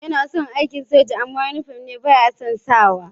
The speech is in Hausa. Yana son aikin soja amma inifom ne ba ya san sakawa